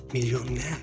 milyon nə?